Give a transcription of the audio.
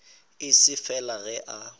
e se fela ge a